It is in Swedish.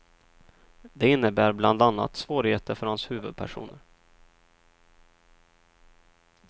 Det innebär bland annat svårigheter för hans huvudpersoner.